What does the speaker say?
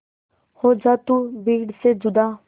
हो जा तू भीड़ से जुदा